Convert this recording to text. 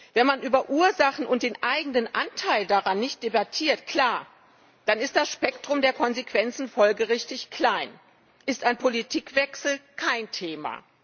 Wenn man über Ursachen und den eigenen Anteil daran nicht debattiert klar, dann ist das Spektrum der Konsequenzen folgerichtig klein, ist ein Politikwechsel kein Thema.